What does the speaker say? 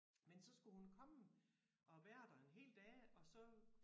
Men så skulle hun komme og være der en hel dag og så